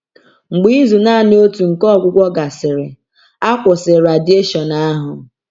Mgbe izu naanị otu nke ọgwụgwọ gasịrị, a kwụsịrị radieshon ahụ.